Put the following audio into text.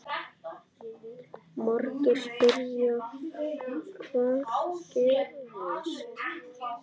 Margir spyrja: Hvað gerðist?